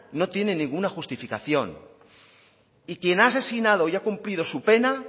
no tiene ninguna justificación y quien ha asesinado y ha cumplido su pena